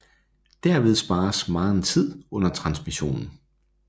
Derved spares megen tid under transmissionen